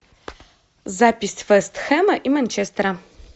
запись вест хэма и манчестера